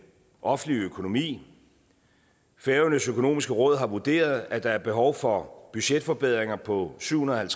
offentlige økonomi færøernes økonomiske råd har vurderet at der er behov for budgetforbedringer på syv hundrede og